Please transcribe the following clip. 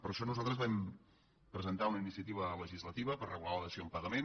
per això nosaltres vam presentar una iniciativa legislativa per regular la dació en pagament